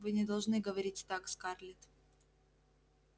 вы не должны говорить так скарлетт